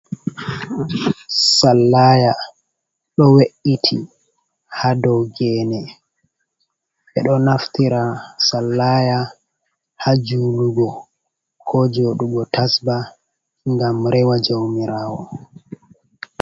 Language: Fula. Sallaya ɗo we'iti ha dou gene. Ɓe ɗo naftira sallaya ha julugo, ko jooɗugo tasba, ngam rewa jaumirawo.